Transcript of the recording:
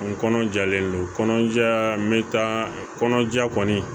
N kɔnɔjalen don kɔnɔja mɛ taa kɔnɔja kɔni